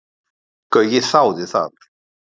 Gaui þáði það.